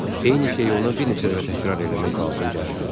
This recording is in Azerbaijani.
Eyni şeyi ona bir neçə dəfə təkrar eləmək lazım gəlir.